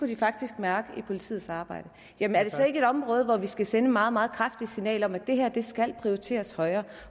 de faktisk mærke i politiets arbejde jamen er det så ikke et område hvor vi skal sende et meget meget kraftigt signal om at det her skal prioriteres højere